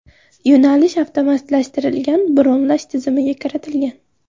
Yo‘nalish avtomatlashtirilgan bronlash tizimiga kiritilgan.